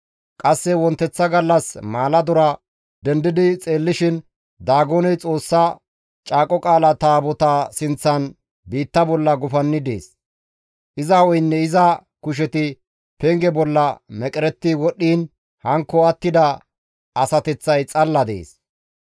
Qasse wonteththa gallas maaladora dendidi xeellishin Daagoney Xoossa Caaqo Qaala Taabotaa sinththan biitta bolla gufanni dees; iza hu7eynne iza kusheti penge bolla meqeretti wodhdhiin hankko attida asateththay xalla dees.